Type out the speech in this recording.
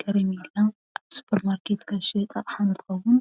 ኬሬሜላ አብ ስፖር ማርኬት ካብ ዝሽየጥ ኣቕሓ እንትኸውን